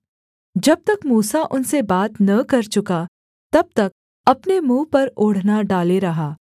जब तक मूसा उनसे बात न कर चुका तब तक अपने मुँह पर ओढ़ना डाले रहा